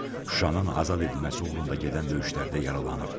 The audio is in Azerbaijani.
Şuşanın azad edilməsi uğrunda gedən döyüşlərdə yaralanıb.